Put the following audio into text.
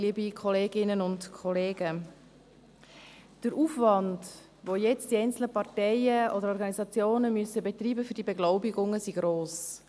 Der Aufwand, den die einzelnen Parteien oder Organisationen jetzt für die Beglaubigungen betreiben müssen, ist gross.